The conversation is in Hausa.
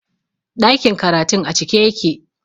Ɗakin karatun a cike yake